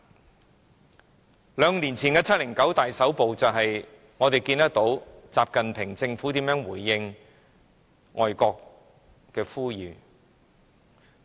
從兩年前的"七零九大抓捕"，我們便看到習近平政府如何回應外國的呼籲。